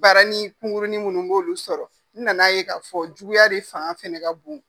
Baara ni kungurunin minnu n b'olu sɔrɔ nan'a ye k'a fɔ juguya de fanga fana ka bon.